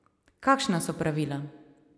Kakšna so pravila?